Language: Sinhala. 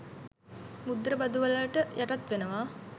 මුද්දර බදු වලට යටත් වෙනවා.